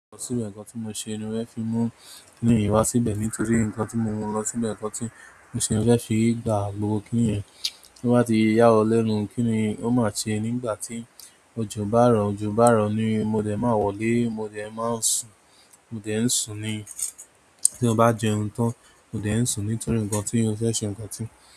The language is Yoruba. Síbẹ̀ ǹkan tí mo ṣe ni mo fẹ́ fi mú kíníyẹn wá síbẹ̀ nítorí ǹkan tí mo lọ síbẹ̀ ǹkan tí mo ṣe mo fẹ́ fi gba gbogbo kíníyẹn tó bá ti ya wọ́n lẹ́nu. Kí ni ó máa sẹ nígbà tí òjò bá rọ̀, òjò bá rọ̀ ni mo dẹ̀ máa wọlé, mo dẹ̀ máa sùn, mo dẹ̀ ń sùn ni. Tí ó bá jẹun tán, mo dẹ̀ ń sùn nítorí ǹkan tí ó fẹ́ ṣe ǹkan tí.